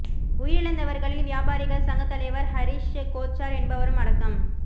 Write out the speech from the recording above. உயிரிழந்தவர்களில் வியாபாரிகள் சங்க தலைவர் ஹரிஷ் கோச்சார் என்பவரும் அடக்கம்